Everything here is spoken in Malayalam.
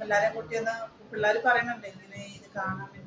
പിള്ളേരെയും കുട്ടിയൊന്ന് പിള്ളാര് പറയുന്നുണ്ട് ഇത് കാണണം.